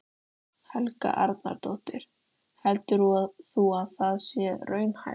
Helga Arnardóttir: Heldur þú að það sé raunhæft?